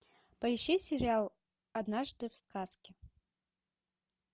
поищи сериал однажды в сказке